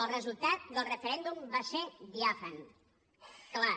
el resultat del referèndum va ser diàfan clar